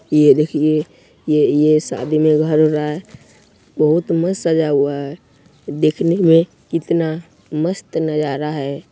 ये देखिये ये ये शादी में घर है बहुत मस्त सजाया हुआ है देखने में कितना मस्त नजारा है।